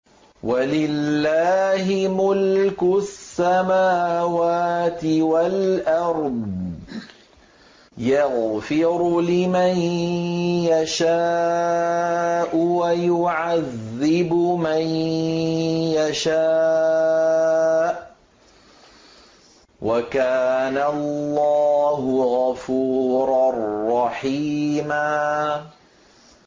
وَلِلَّهِ مُلْكُ السَّمَاوَاتِ وَالْأَرْضِ ۚ يَغْفِرُ لِمَن يَشَاءُ وَيُعَذِّبُ مَن يَشَاءُ ۚ وَكَانَ اللَّهُ غَفُورًا رَّحِيمًا